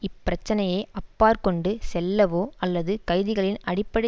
இப் பிரச்சினையை அப்பாற்கொண்டு செல்லவோ அல்லது கைதிகளின் அடிப்படை